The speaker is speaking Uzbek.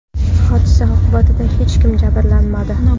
Hodisa oqibatida hech kim jabrlanmadi.